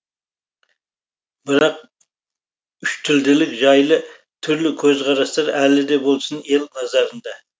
бірақ үштілділік жайлы түрлі көзқарастар әлі де болсын ел назарында